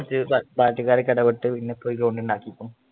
കൊറച്ച് പാർട്ടിക്കാരെല്ലാം ഇടപെട്ട്പിന്നെ ഒരു ground ഉണ്ടാക്കി തന്നു.